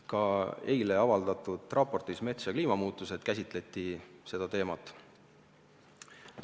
Ka eile avaldatud raportis "Mets ja kliimamuutused" käsitleti seda teemat.